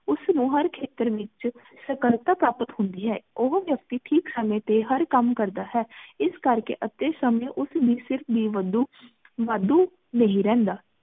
ਉਸ ਨੂ ਹਰ ਖੇਤਰ ਏਚ ਸਾਕ਼ਾਲਤਾ ਕੈਪਿਟ ਹੁੰਦੀ ਹੈ ਓਹੋ ਵਾਯਾਕਤੀ ਠੀਕ ਸੰਮੀ ਟੀ ਹਰ ਕਾਮ ਕਰਦਾ ਹੈ ਏਸ ਕਰ ਕ ਅਤੀ ਸੰਮੀ ਉਸ ਦੀ ਸਿਰਫ ਬੇ ਬੰਦੂ ਵਾਦੁ ਨਹੀ ਰਹੰਦਾ